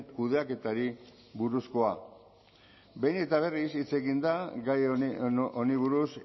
kudeaketari buruzkoa behin eta berriz hitz egin da gai honi buruz